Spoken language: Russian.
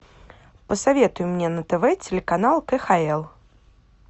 посоветуй мне на тв телеканал кхл